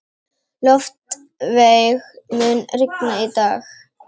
Loftveig, mun rigna í dag?